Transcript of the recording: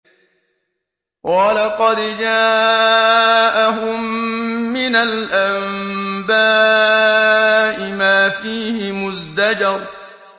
وَلَقَدْ جَاءَهُم مِّنَ الْأَنبَاءِ مَا فِيهِ مُزْدَجَرٌ